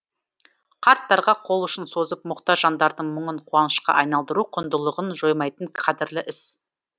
қарттарға қол ұшын созып мұқтаж жандардың мұңын қуанышқа айналдыру құндылығын жоймайтын қадірлі іс